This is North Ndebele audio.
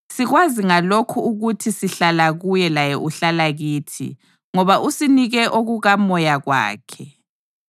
Sikwazi ngalokhu ukuthi sihlala kuye laye uhlala kithi ngoba usinike okukaMoya wakhe.